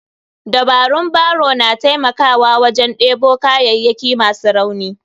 Dabarun barrow na taimakawa wajen debo kayayyaki masu rauni.